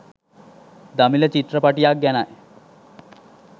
දමිළ චිත්‍රපටියක් ගැනයි